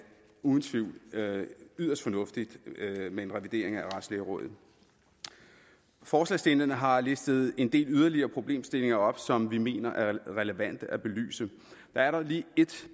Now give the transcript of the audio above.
yderst fornuftigt med en revidering af retslægerådet forslagsstillerne har listet en del yderligere problemstillinger op som vi mener er relevante at belyse der er dog lige et